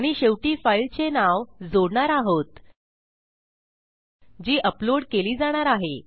आणि शेवटी फाईलचे नाव जोडणार आहोत जी अपलोड केली जाणार आहे